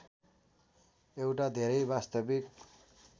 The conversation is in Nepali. एउटा धेरै वास्तविक